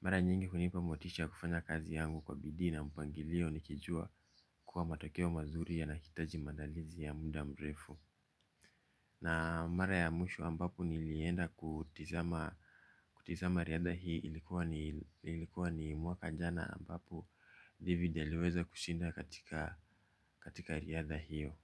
Mara nyingi hunipa motisha ya kufanya kazi yangu kwa bidii na mpangilio nikijua kuwa matokeo mazuri yanahitaji maandalizi ya muda mrefu. Na mara ya mwisho ambapo nilienda kutizama riadha hii ilikuwa ni mwaka jana ambapo David aliweza kusinda katika riadha hiyo.